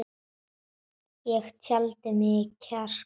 Ég taldi í mig kjark.